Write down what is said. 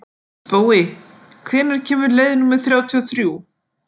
Spói, hvenær kemur leið númer þrjátíu og þrjú?